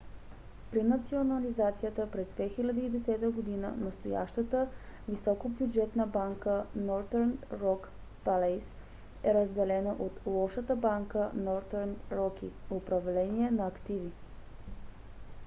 при национализацията през 2010 г. настоящата високобюджетна банка northern rock plc е разделена от лошата банка northern rock управление на активи